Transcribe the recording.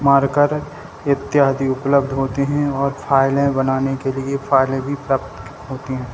Marker इत्यादि उपलब्ध होते हैं और फाइलें बनाने के लिए फाइलें भी प्राप्त होती है।